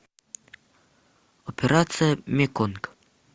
операция меконг